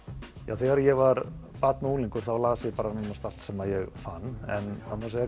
þegar ég var barn og unglingur þá las ég nánast allt sem ég fann en það má